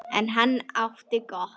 En hann átti gott.